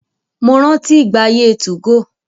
Mo rántí ìgbà ayé 2go.